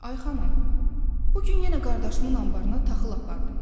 Ay xanım, bu gün yenə qardaşımın anbarına taxıl apardım.